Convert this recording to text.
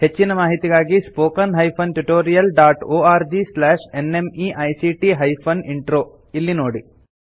ಹೆಚ್ಚಿನ ಮಾಹಿತಿಗಾಗಿ spoken hyphen tutorial dot org slash NMEICT hyphen intro ಎಂಬಲ್ಲಿ ನೋಡಿ